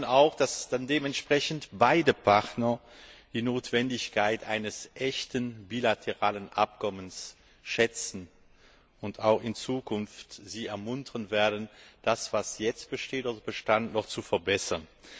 Wir hoffen auch, dass dann dementsprechend beide Partner die Notwendigkeit eines echten bilateralen Abkommens wahrnehmen, und sie auch in Zukunft ermuntert werden, das, was jetzt besteht oder bestand, noch zu verbessern.